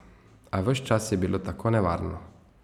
A ves čas je bilo tako nevarno.